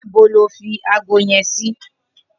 Nibó ló fi àgó yèn si?